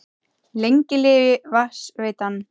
Lengi lifi Vatnsveitan!